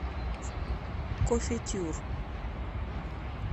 кофетюр